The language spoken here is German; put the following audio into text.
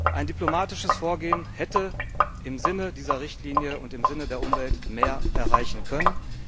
Ein diplomatisches Vorgehen hätte im Sinne dieser Richtlinie und im Sinne der Umwelt mehr erreichen können.